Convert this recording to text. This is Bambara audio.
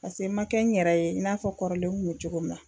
Paseke n man kɛ n yɛrɛ ye i n'a fɔ kɔrɔlen n kun bɛ cogo min na.